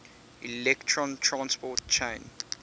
electron transport chain